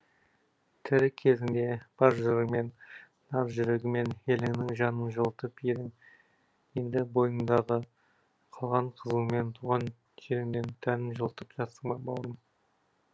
тірі кезіңде бар жырыңмен нар жүрегіңмен еліңнің жанын жылытып едің енді бойыңдағы қалған қызуыңмен туған жеріңнің тәнін жылытып жатсың ба бауырым